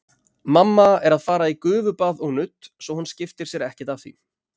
Mamma er að fara í gufubað og nudd, svo hún skiptir sér ekkert af því.